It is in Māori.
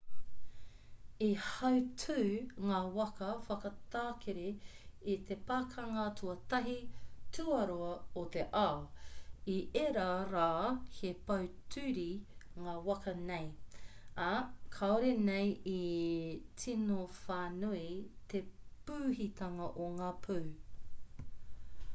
i hautū ngā waka whakatakere i te pakanga tuatahi/tuarua o te ao. i ērā rā he pōturi ngā waka nei ā kāore nei e tino whānui te pūhitanga o ngā pū